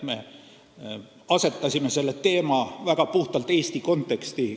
Me asetasime selle teema puhtalt Eesti konteksti.